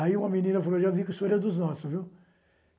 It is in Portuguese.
Aí uma menina falou, já vi que isso era dos nossos, viu?